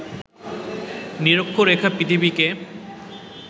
নিরক্ষরেখা পৃথিবীকে